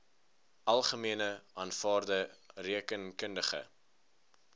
algemene aanvaarde rekeningkundige